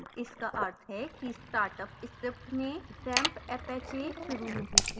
इसका अर्थ है कि startup script ने xamppapache शुरू नहीं किया है